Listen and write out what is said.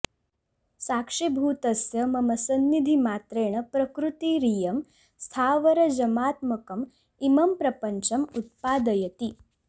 साक्षिभूतस्य मम सन्निधिमात्रेण प्रकृतिरियं स्थावरजमात्मकम् इमं प्रपञ्चम् उत्पादयति